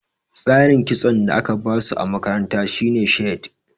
Tsarin kitson da aka ba su a makaranta shi ne shade.